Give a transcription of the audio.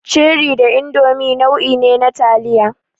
Cherie da Indomi nau'i ne na taliya.